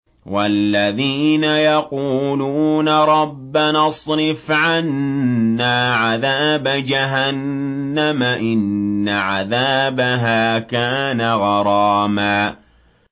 وَالَّذِينَ يَقُولُونَ رَبَّنَا اصْرِفْ عَنَّا عَذَابَ جَهَنَّمَ ۖ إِنَّ عَذَابَهَا كَانَ غَرَامًا